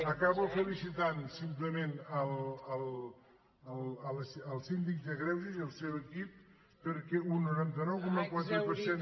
acabo felicitant simplement el síndic de greuges i el seu equip perquè un noranta nou coma quatre per cent